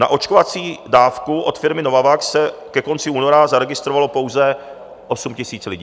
Na očkovací dávku od firmy Novavax se ke konci února zaregistrovalo pouze 8 000 lidí.